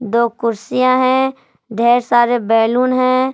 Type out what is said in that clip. दो कुर्सियां हैं ढेर सारे बैलून हैं।